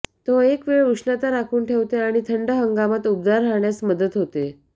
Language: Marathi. तो एक वेळ उष्णता राखून ठेवते आणि थंड हंगामात उबदार राहण्यास मदत होते